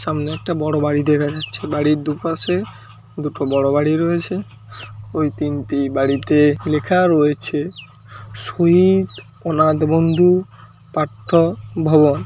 সামনে একটা বড়ো বাড়ি দেখা যাচ্ছে বাড়ির দুপাশে দুটো বড়ো বাড়ি রয়েছে ওই তিনটি বাড়িতে লেখা রয়েছে সুইৎ অনাথ বন্ধু পাঠ্য ভবন।